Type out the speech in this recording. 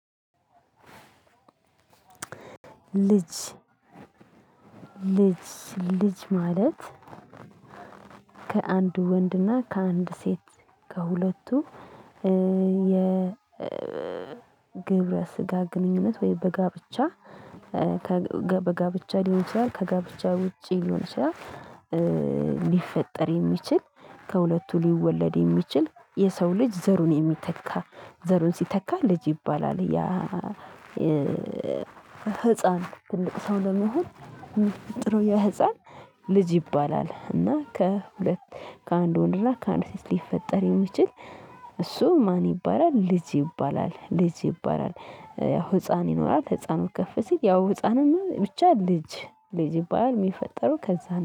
ልጅ፣ ልጅ፣ ልጅ፣ ማለት? ከአንድ ወንድና ከአንድ ሴት ከሁለቱ የ ግብረ ስጋ ግንኙነት ወይ በጋብቻ፣ በጋብቻ ሊሆን ይችላል፤ ከጋብቻ ውጪ ሊሆን ይችላል ሊፈጠር የሚችል፤ ከሁለቱ ሊወለድ የሚችል፤ የሰው ልጅ ዘሩን የሚተካ፤ ዘሩን ሲተካ ልጅ ይባላል። ያ ህፃን ትልቅ ሰው ለመሆን የሚፈጥረው የህፃን ልጅ ይባላል። እና ከሁለት ከአንድ ወንድ እና ከአንድ ሴት ሊፈጠር የሚችል እሱ ማን ይባላል? ልጅ ይባላል። ልጅ ይባላል። ህፃን ይኖራል ህፃኑ ከፍ ሲል ያው ህፃንም ብቻ ልጅ፣ ልጅ ይባላል የሚፈጠረው ከዛ ነው።